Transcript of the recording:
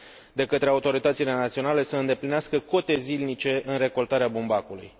de către autoritățile naționale să îndeplinească cote zilnice în recoltarea bumbacului.